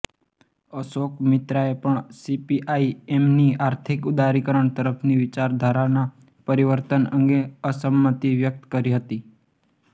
અશોક મિત્રાએ પણ સીપીઆઇ એમની આર્થિક ઉદારીકરણ તરફની વિચારધારાના પરિવર્તન અંગે અસંમતિ વ્યક્ત કરી હતી